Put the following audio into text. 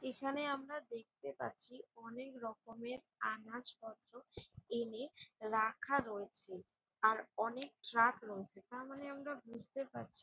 এখানে আমরা দেখতে পাচ্ছি অনেকরকমের আনাজপত্র এনে রাখা রয়েছে। আর অনেক ট্রাক রয়েছে তার মানে আমরা বুঝতে পারছি--